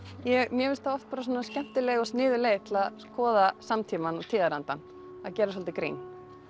mér finnst það oft skemmtileg og sniðug leið til að skoða samtímann og tíðarandann að gera svolítið grín